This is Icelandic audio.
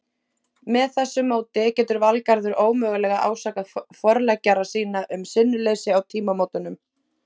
Með þessu móti getur Valgarður ómögulega ásakað forleggjara sína um sinnuleysi á tímamótunum.